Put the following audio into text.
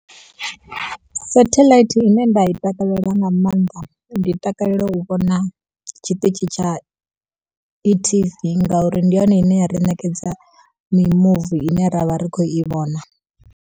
Satheḽaithi ine nda i takalela nga maanḓa, ndi takalela u vhona tshiṱitshi tsha etv ngauri ndi yone ine ya ri ṋekedza mimuvi ine ra vha ri khou i vhona.